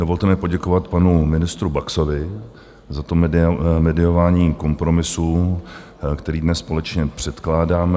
Dovolte mi poděkovat panu ministru Baxovi za to mediování kompromisu, který dnes společně předkládáme.